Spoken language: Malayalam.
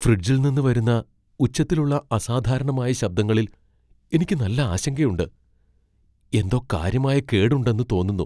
ഫ്രിഡ്ജിൽ നിന്ന് വരുന്ന ഉച്ചത്തിലുള്ള അസാധാരണമായ ശബ്ദങ്ങളിൽ എനിക്ക് നല്ല ആശങ്കയുണ്ട്, എന്തോ കാര്യമായ കേട് ഉണ്ടെന്ന് തോന്നുന്നു.